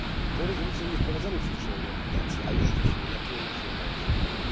Tą rezolucją nie wprowadzamy przecież euroobligacji, a już widzimy, jakie emocje ona wzbudza.